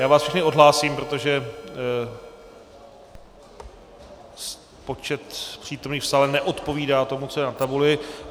Já vás všechny odhlásím, protože počet přítomných v sále neodpovídá tomu, co je na tabuli.